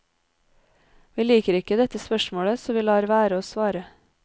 Vi liker ikke dette spørsmålet, så vi lar være å svare.